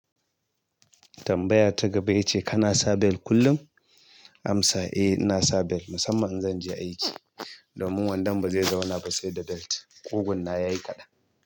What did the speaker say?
Tambaya ta gaba ya ce kana sa belt kullum? Amsa eh ina sa belt musamman in zan je aiki domin wondon ba zai zauna ba sai da belt. Kugun nawa ya yi kaɗan.